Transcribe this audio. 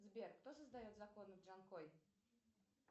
сбер кто создает законы в джанкой